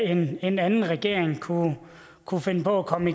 en anden anden regering kunne kunne finde på at komme